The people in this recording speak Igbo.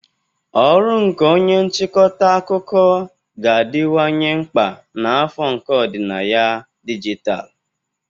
Ọrụ nke onye nchịkọta akụkọ ga-adịwanye mkpa na afọ nke ọdịnaya dijitalụ.